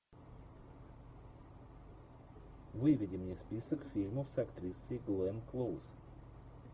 выведи мне список фильмов с актрисой гленн клоуз